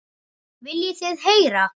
Viljið þið heyra?